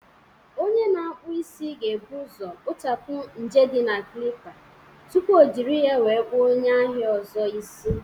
Onye na-akpụ isi ga-ebu ụzọ kpochapụ ñje na Klippa tupu O jiri ya wee kpuọ onye ahịa ọzọ isi